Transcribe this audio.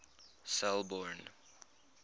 selborne